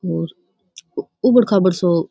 और उबड़ खाबोड सो --